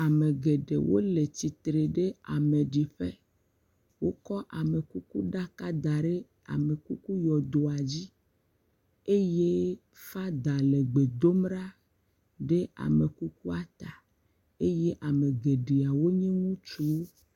Amegeɖe wole tsitre ɖe ameɖiƒe, wo kɔ amekuku ɖaka da ɖe amekuku yɔdoa dzi, eye father le gbe ɖom ɖa ɖe amekukua ta, eye geɖeawo nue ŋutsuwo.